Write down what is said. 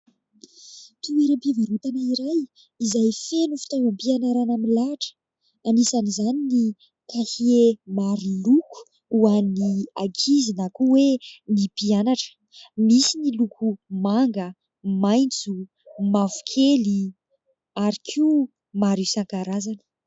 Toeram-pivarotana iray izay feno fitaovam-pianarana milahatra anisan'izany ny kahie maroloko ho an'ny ankizy na koa hoe ny mpianatra. Misy ny loko manga, maitso, mavokely ary koa maro isan-karazany.